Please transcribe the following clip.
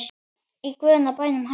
Í guðanna bænum hættu